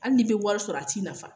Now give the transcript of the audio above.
Hali n'i be wari sɔrɔ a t'i nafa.